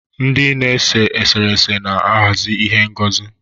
Ndị na-ese eserese na-ahazi ihe ngosi.